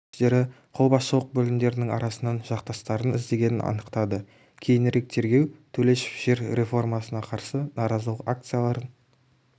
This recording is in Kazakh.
күштері қолбасшылық бөлімдерінің арасынан жақтастарын іздегенін анықтады кейінірек тергеу төлешов жер реформасына қарсы наразылық акцияларын